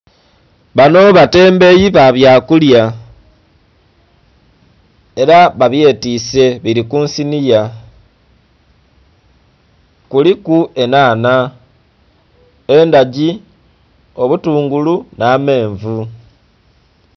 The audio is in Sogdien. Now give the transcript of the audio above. Banho batembeyi ba bya kulya era ba byetwise biri kunsinhiya kuliku enhanha, endhagi , obutungulu nha menvu.